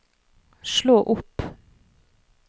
slå opp